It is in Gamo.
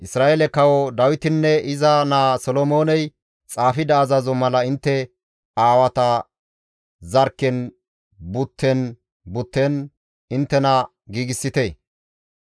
Isra7eele Kawo Dawitinne iza naa Solomooney xaafida azazo mala intte aawata zarkken butten butten inttena giigsite.